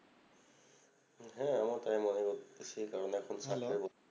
হ্যাঁ আমারও তাই মনে করি সেই কারণে এখন